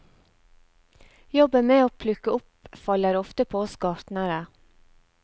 Jobben med å plukke opp faller ofte på oss gartnere.